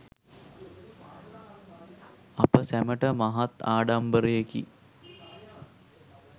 අප සැමට මහත් ආඩම්බරයෙකි.